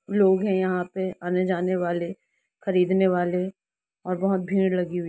लोग है यहाँ पे आने जानेवाले खरीदने वाले और बहुत भीड़ लगी हुई--